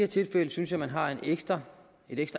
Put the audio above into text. tilfælde synes jeg man har et ekstra